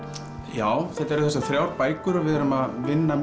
já þetta eru þessar þrjár bækur og við erum að vinna